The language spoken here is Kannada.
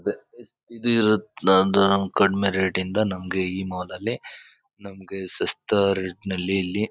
ಇದ. ಇದು ಇರತ್ತ್ ನಂದು ನಮ್ಮ್ ಕಡಿಮೆ ರೇಟ್ ಇಂದ ನಮಗೆ ಈ ಮಾಲ್ ಅಲ್ಲಿ ನಮಗೆ ಸಸ್ತಾ ರೇಟ್ ನಲ್ಲಿ ಇಲ್ಲಿ--